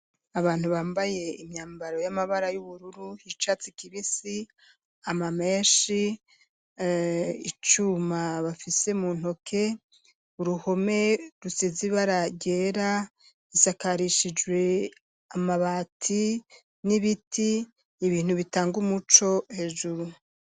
Abantu bambaye imyambaro y'amabara y'ubururu icatsi kibisi ama meshi icuma bafise mu ntoke, uruhome rusize ibara ryera risakarishijwe amabati n'ibiti ibintu bitanga umuco hejuru.